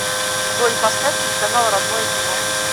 джой поставь телеканал родное кино